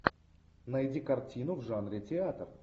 найди картину в жанре театр